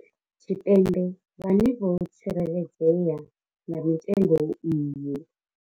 Tshipembe vhane vho tsikeledzea nga mitengo iyi.